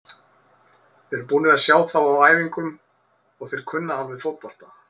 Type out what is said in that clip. Við erum búnir að sjá þá á æfingum og þeir kunna alveg fótbolta.